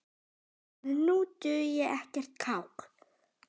að nú dugi ekkert kák!